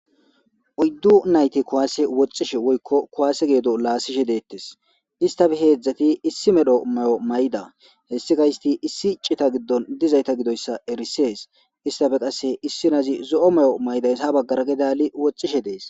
oyddu nayte kowaase woxishe woykko kuwaase geedo laasishe deettes istafe heedzdzati issi medho mayomayda hessi ka histi issi cita giddon dizayta gidoyssa erisees istafe qasse issi nazi zo7o mayo maydaysa baggara gidali wocishe dees